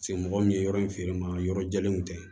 Se mɔgɔ min ye yɔrɔ in feere ma yɔrɔ jɛlenw tɛ